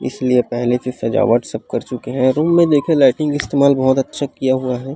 इसलिए पहले से सजावट कर चुके है रूम मे देखिये लाइटिंग इतेमाल बहोत अच्छा किया हुआ है।